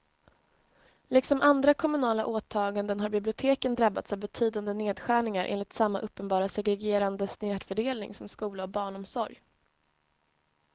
Liksom andra kommunala åtaganden har biblioteken drabbats av betydande nedskärningar enligt samma uppenbara segregerande snedfördelning som skola och barnomsorg.